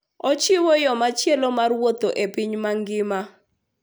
Ochiwo yo machielo mar wuoth e piny mangima.